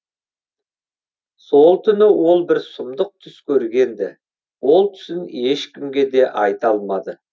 сол түні ол бір сұмдық түс көрген ді ол түсін ешкімге де айта алмады